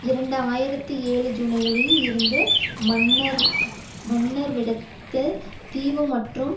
இரண்டு ஆயிரத்தி ஏழு ஜூலையில் இருந்து மன்னார் விடத்தல் தீவு மற்றும்